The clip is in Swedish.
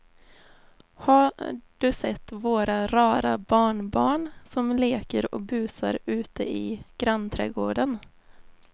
Har du sett våra rara barnbarn som leker och busar ute i grannträdgården!